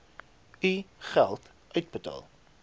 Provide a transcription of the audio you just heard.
u geld uitbetaal